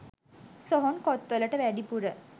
සොහොන් කොත්වලට වැඩිපුර